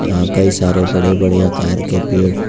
यहां कई सारे बड़े-बड़े आकार के पेड़ --